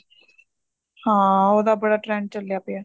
ਹਾਂ ਉਹਦਾ ਬੜਾ trend ਚੱਲਿਆ ਪਿਆ